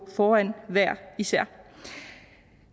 foran hver især